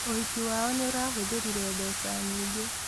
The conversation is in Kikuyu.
ũhiki wao nĩũrahũthĩrire mbeca nyingĩ